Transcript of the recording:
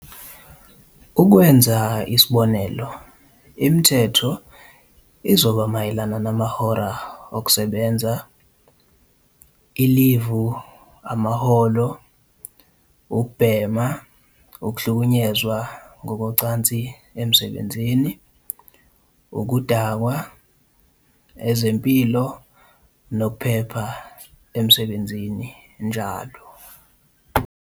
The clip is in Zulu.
Ukwenza isibonelo imithetho, izoba mayelana namahora okusebenza, ilivu amaholo, ukubhema, ukuhlukunyezwa ngokocansi emsebenzini, ukudakwa, ezempilo nokuphepha emsebenzini, njl.